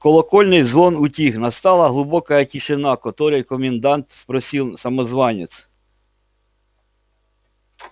колокольный звон утих настала глубокая тишина который комендант спросил самозванец